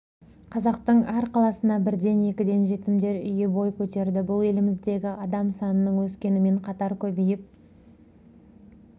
қазақтың әр қаласына бірден-екіден жетімдер үйі бой көтерді бұл еліміздегі адам санының өскенімен қатар көбейіп